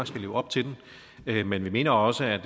skal leve op til den men vi mener mener også at